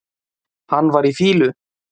Hann var í fýlu.